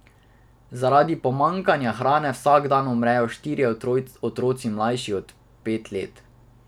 Zaradi pomanjkanja hrane vsak dan umrejo štirje otroci, mlajši od pet let.